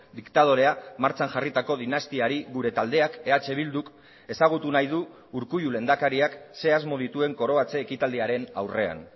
diktadorea martxan jarritako dinastiari gure taldeak eh bilduk ezagutu nahi du urkullu lehendakariak ze asmo dituen koroatze ekitaldiaren aurrean